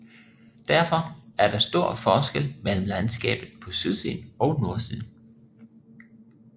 Derfor er der stor forskel mellem landskabet på sydsiden og nordsiden